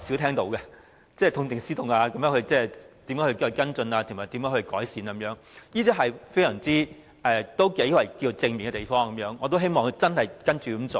痛定思痛、如何跟進、作出改善，這些話是較少聽到的，亦是頗正面的，我也希望他真的會這樣做。